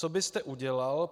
Co byste udělal?